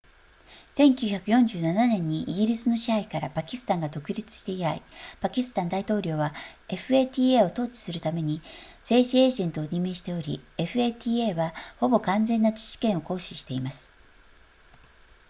1947年にイギリスの支配からパキスタンが独立して以来パキスタン大統領は fata を統治するために政治エージェントを任命しており fata はほぼ完全な自治権を行使しています